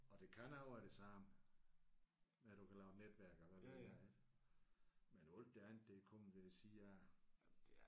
Og det kan også være det samme med at du kan lave netværker hvad ved jeg ik men alt det andet der er kommet jeg vil sige jeg